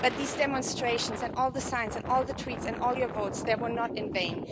But these demonstrations and all the signs and all the tweets and all your votes there were not in vain.